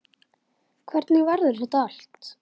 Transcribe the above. Hvernig verður þetta allt?